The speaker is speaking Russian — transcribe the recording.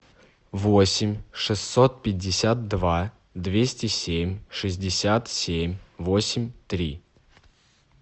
восемь шестьсот пятьдесят два двести семь шестьдесят семь восемь три